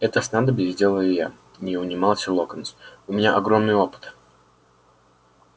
это снадобье сделаю я не унимался локонс у меня огромный опыт